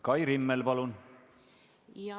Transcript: Kai Rimmel, palun!